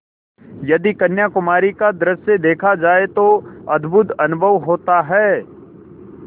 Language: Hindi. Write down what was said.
यदि कन्याकुमारी का दृश्य देखा जाए तो अद्भुत अनुभव होता है